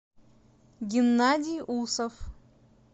геннадий усов